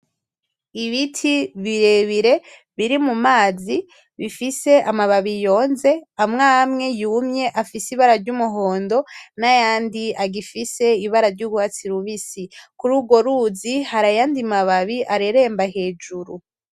Ibiti birebire biri mu mazi bifise amababi yonze, amw'amwe yumye afise ibara ry'umuhondo; n'ayandi agifise ibara ry'ugwatsi rubisi, kur'urwo ruzi har'ayandi bababi areremba hejuru.